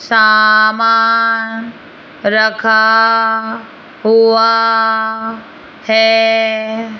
सामान रखा हुआ है।